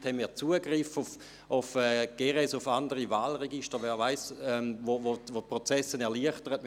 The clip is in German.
Vielleicht werden wir über die Software GERES Zugriff auf andere Wahlregister haben, sodass die Prozesse erleichtert werden.